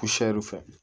fɛ